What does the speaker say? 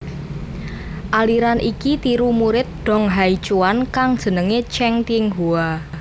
Aliran iki tiru murid Dong Haichuan kang jenenge Cheng Tinghua